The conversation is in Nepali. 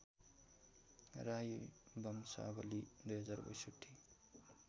राई वंशावली २०६२